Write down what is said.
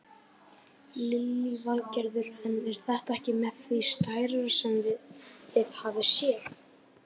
Lillý Valgerður: En er þetta ekki með því stærra sem þið hafið séð?